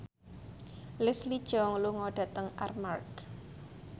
Leslie Cheung lunga dhateng Armargh